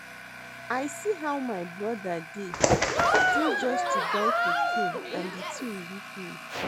I see how my brother dey still just to buy cocaine and the thing weak me